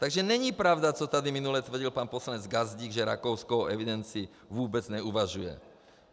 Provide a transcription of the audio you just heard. Takže není pravda, co tady minule tvrdil pan poslanec Gazdík, že Rakousko o evidenci vůbec neuvažuje.